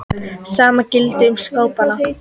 Sama gilti um skápana.